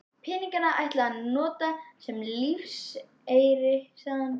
Peningana ætlaði hann að nota sem lífeyri, sagði hann.